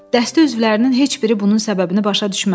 Dəstə üzvlərinin heç biri bunun səbəbini başa düşmədi.